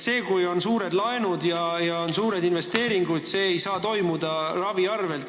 See, kui on suured laenud ja tehakse suuri investeeringuid, ei tohi toimuda ravi arvel.